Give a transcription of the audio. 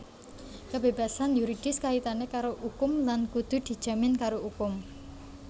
Kebébasan yuridis kaitané karo ukum lan kudu dijamin karo ukum